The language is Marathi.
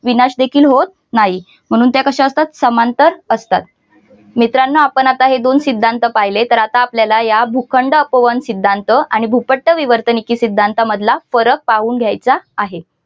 विनाश देखील होत नाही म्हणून त्या कशा असतात समांतर असतात मित्रांनोआपण आता हे दोन सिद्धांत पाहिले तर आता आपल्याला या भूखंड अपवहन सिद्धांत आणि भूपट्ट भूपट्ट विवर्तनिकी सिद्धांतामधला फरक पाहून घ्यायचा आहे.